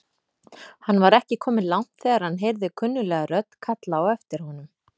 Hann var ekki kominn langt þegar hann heyrði kunnuglega rödd kalla á aftir honum.